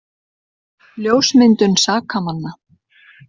Ljósmyndun sakamanna